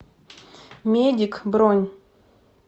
медик бронь